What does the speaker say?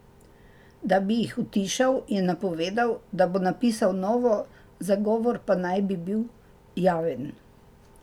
Da bi jih utišal, je napovedal, da bo napisal novo, zagovor pa naj bi bil javen.